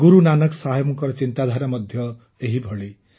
ଗୁରୁ ନାନକ ସାହେବଙ୍କ ଚିନ୍ତାଧାରା ମଧ୍ୟ ଏହିଭଳି